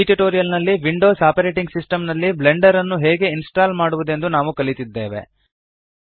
ಈ ಟ್ಯುಟೋರಿಯಲ್ ನಲ್ಲಿ Windows operating system ನಲ್ಲಿ ಬ್ಲೆಂಡರ್ ನ್ನು ಹೇಗೆ ಇನ್ಸ್ಟಾಲ್ ಮಾಡುವದೆಂದು ನಾವು ಕಲಿತಿದ್ದೇವೆ